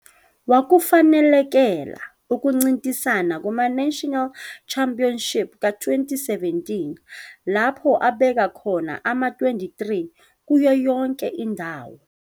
Wakufanelekela ukuncintisana kumaNational Championship ka-2017 lapho abeka khona ama-23 kuyo yonke indawo.